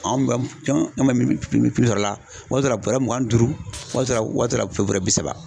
An bɛ mi mi mi sɔrɔ la o y'a sɔrɔ la waati dɔw la bɔrɛ mugan ni duuru waati dɔw la bɔrɛ saba.